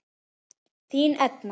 Þín Edna.